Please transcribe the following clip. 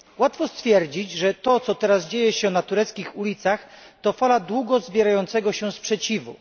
Łatwo stwierdzić, że to, co się teraz dzieje na tureckich ulicach, to fala długo zbierającego się sprzeciwu.